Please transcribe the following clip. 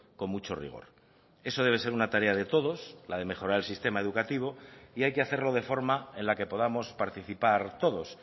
con mucho rigor eso debe ser una tarea de todos la de mejorar el sistema educativo y hay que hacerlo de forma en la que podamos participar todos